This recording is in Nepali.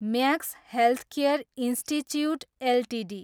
Max healthcare institute Ltd